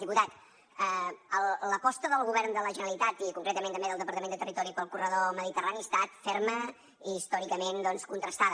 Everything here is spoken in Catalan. diputat l’aposta del govern de la generalitat i concretament també del departament de territori pel corredor mediterrani ha estat ferma i històricament doncs contrastada